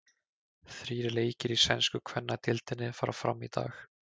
Þrír leikir í sænsku kvennadeildinni fara fram í dag.